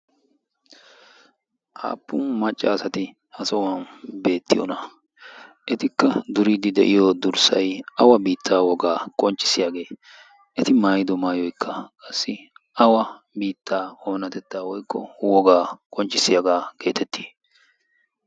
aappun maccaasati ha sohuwan beettiyona? etikka duriiddi de7iyo durssai awa biittaa wogaa qonccissiyaagee? eti maayidu maayoikka qassi awa biittaa oonatettaa woikko wogaa qonccissiyaagaa geetettii?